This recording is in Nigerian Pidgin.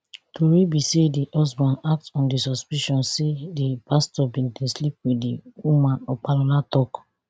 tori be say di husband act on di suspicion say di pastor bin dey sleep wit di woman opalola tok